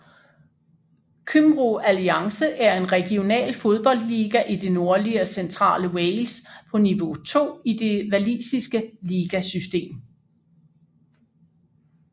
Cymru Alliance er en regional fodboldliga i det nordlige og centrale Wales på niveau 2 i det walisiske ligasystem